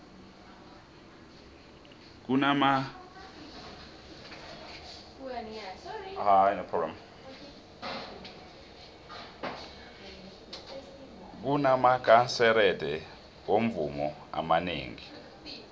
kunamakanserete womvumo amanengi